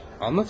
Anlat hadi.